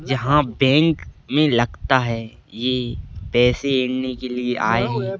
यहां बैंक मे लगता है ये पैसे इन्हीं के लिए आये है।